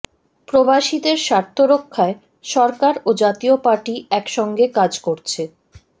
প্রবাসীদের স্বার্থ রক্ষায় সরকার ও জাতীয় পার্টি একসঙ্গে কাজ করছে